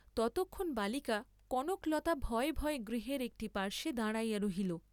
ততক্ষণ বালিকা কনকলতা ভয়ে ভয়ে গৃহের একটি পার্শ্বে দাঁড়াইয়া রহিল।